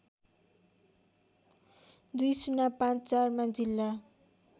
२०५४ मा जिल्ला